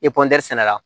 sɛnɛ la